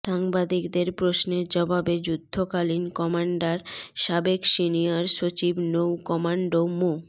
সাংবাদিকদের প্রশ্নের জবাবে যুদ্ধকালীন কমান্ডার সাবেক সিনিয়র সচিব নৌ কমান্ডো মো